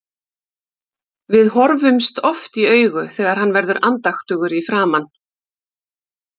Við horfumst oft í augu þegar hann verður andaktugur í framan.